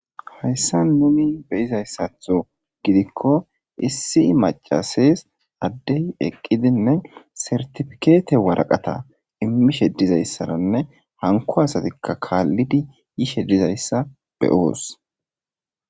Hayssa nuni be7izayssatho gidikko issi macases addey eqqidinne sertifikeete waraqata immishe dizayssaranne hanko asatikka kaallidi yishe dizayssa be7oos.